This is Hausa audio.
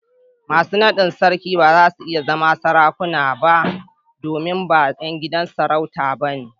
Masu naɗin sarki ba za su iya zama Sarakuna ba domin ba ’yan gidan sarauta ba ne.